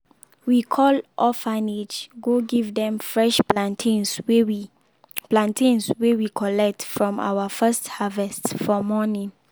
we call orphanage go give dem fresh plantains wey we plantains wey we collect from our first harvest for morning.